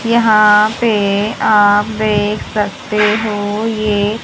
यहां पे आप देख सकते हो ये--